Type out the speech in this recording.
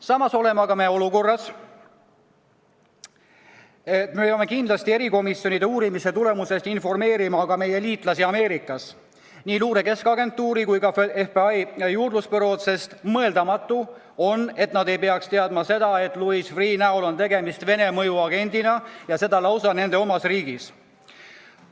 Samas oleme olukorras, kus peame erikomisjonide korraldatud uurimise tulemustest kindlasti informeerima ka meie liitlasi Ameerikas, nii Luure Keskagentuuri kui ka Föderaalset Juurdlusbürood, sest on mõeldamatu, et nad ei peaks teadma seda, et Louis Freeh' näol on tegemist Vene mõjuagendiga – ja lausa nende oma riigis.